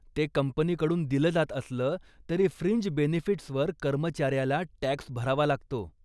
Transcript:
ते कंपनीकडून दिलं जात असलं तरी फ्रिंज बेनिफिट्सवर कर्मचाऱ्याला टॅक्स भरावा लागतो.